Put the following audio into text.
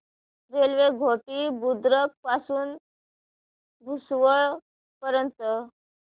railway Ghoti Budruk पासून भुसावळ पर्यंत